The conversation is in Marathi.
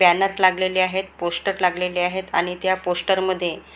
बॅनर लागलेले आहेत पोस्टर लागलेले आहेत आणि त्या पोस्टर मध्ये--